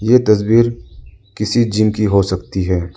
ये तस्वीर किसी जिम की हो सकती है।